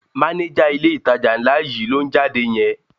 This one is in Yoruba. Mánéjà ilé-ìtajà ńlá yìí ló ń jáde yẹn